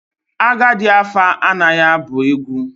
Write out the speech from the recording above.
Agadi afa anaghi abu egwu.